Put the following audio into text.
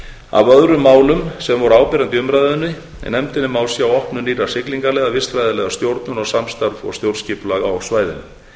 af öðrum málum sem voru áberandi í umræðunni í nefndinni má sjá opnun nýrra siglingaleiða vistfræðilega stjórnun og samstarf og stjórnskipulag á svæðinu